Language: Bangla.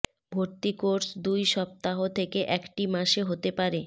ভর্তি কোর্স দুই সপ্তাহ থেকে একটি মাসে হতে পারে